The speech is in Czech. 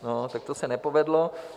No, tak to se nepovedlo.